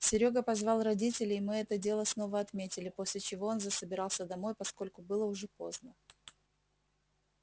серёга позвал родителей мы это дело снова отметили после чего он засобирался домой поскольку было уже поздно